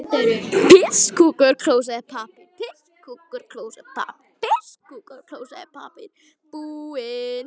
Halinn er miklu stærri.